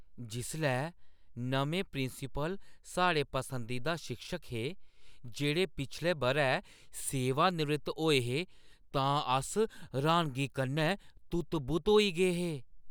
जिसलै नमें प्रिंसीपल साढ़े पसंदीदा शिक्षक हे जेह्ड़े पिछले बʼरै सेवानिवृत्त होए हे, तां अस र्‌हानगी कन्नै तुत्त-बुत्त होई गे हे।